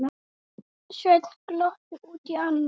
Sveinn glotti út í annað.